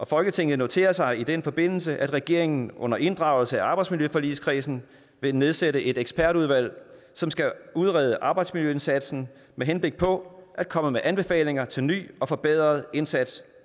folketinget noterer sig i den forbindelse at regeringen under inddragelse af arbejdsmiljøforligskredsen vil nedsætte et ekspertudvalg som skal udrede arbejdsmiljøindsatsen med henblik på at komme med anbefalinger til en ny og forbedret indsats